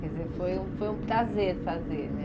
Quer dizer, foi um foi um prazer fazer, né?